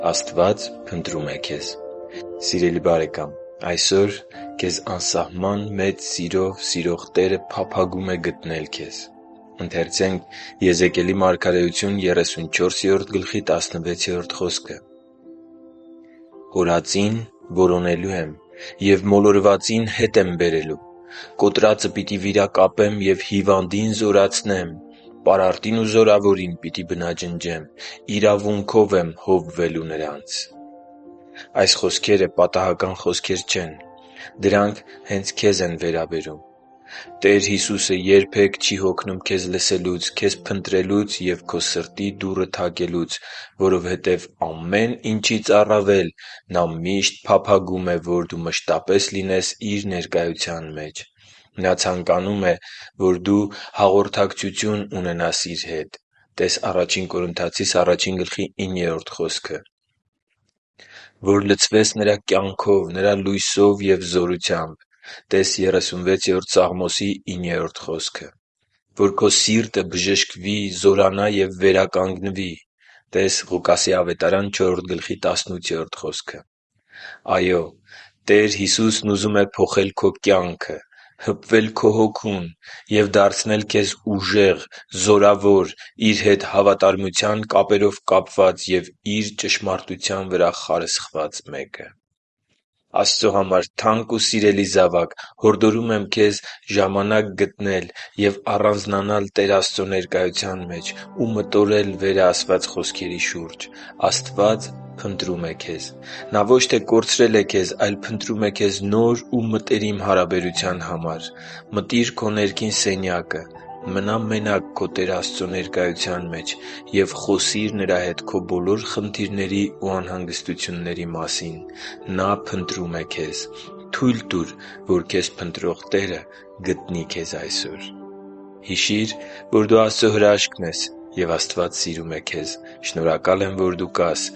Աստված փնտրում է քեզ Սիրելի՛ բարեկամ, այսօր քեզ անսահման մեծ սիրով սիրող Տերը փափագում է գտնել քեզ․․․ «Կորածին որոնելու եմ և մոլորվածին հետ եմ բերելու։ Կոտրածը պիտի վիրակապեմ և հիվանդին զորացնեմ, պարարտին ու զորավորին պիտի բնաջնջեմ. իրավունքով եմ հովվելու նրանց» (Եզեկել 34.16)։ Այս խոսքերը պատահական խոսքեր չեն։ Դրանք հե՛նց քեզ են վերաբերում։ Տեր Հիսուսը երբեք չի հոգնում քեզ լսելուց, քեզ փնտրելուց և քո սրտի դուռը թակելուց, որովհետև ամեն ինչից առավել, Նա միշտ փափագում է, որ դու մշտապես լինես Իր ներկայության մեջ: Նա ցանկանում է, որ… - Հաղորդակցություն ունենաս Իր հետ (տե՛ս Ա Կորնթացիս 1.9 խոսքը)։ - Լցվես Նրա կյանքով, Նրա լույսով և զորությամբ (տե՛ս Սաղմոս 36.9 խոսքը)։ - Քո սիրտը բժշկվի, զորանա և վերականգնվի (տե՛ս Ղուկաս 4.18 խոսքը)։ Այո՛, Տեր Հիսուսն ուզում է փոխել քո կյանքը, հպվել քո հոգուն և դարձնել քեզ ուժեղ, զորավոր, Իր հետ հավատարմության կապերով կապված և Իր ճշմարտության վրա խարսխված: Աստծո համար թանկ ու սիրելի՛ զավակ, հորդորում եմ քեզ ժամանակ գտնել և առանձնանալ Տեր Աստծո ներկայության մեջ ու մտորել վերը ասված խոսքերի շուրջ։ Աստված փնտրում է քեզ։ Նա ոչ թե կորցրել է քեզ, այլ փնտրում է քեզ նոր ու մտերիմ հարաբերության համար։ Մտի՛ր քո ներքին սենյակը։ Մնա՛ մենակ քո Տեր Աստծո ներկայության մեջ և խոսի՛ր Նրա հետ քո բոլոր խնդիրների ու անհանգստությունների մասին։ Նա փնտրում է քեզ։ Թո՛ւյլ տուր, որ քեզ փնտրող Տերը գտնի քեզ այսօր․․․ Հիշի՛ր, որ դու Աստծո հրաշքն ես, և Աստված սիրում է քեզ։ Շնորհակալ եմ, որ դու կա՛ս